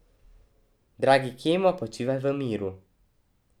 Dragi Kemo, počivaj v miru.